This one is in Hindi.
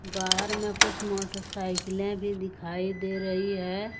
बाहर में कुछ मोटरसाइकिलें भी दिखाई दे रही है।